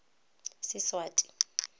seswati